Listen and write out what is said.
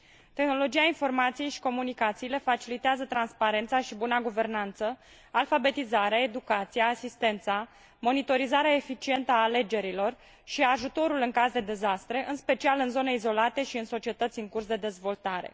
Tehnologia informației și comunicațiile facilitează transparența și buna guvernanță, alfabetizarea, educația, asistența, monitorizarea eficientă a alegerilor și ajutorul în caz de dezastre, în special în zone izolate și în societăți în curs de dezvoltare.